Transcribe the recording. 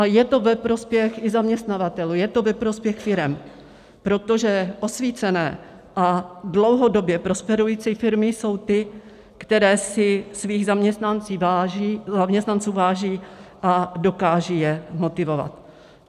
A je to ve prospěch i zaměstnavatelů, je to ve prospěch firem, protože osvícené a dlouhodobě prosperující firmy jsou ty, které si svých zaměstnanců váží a dokážou je motivovat.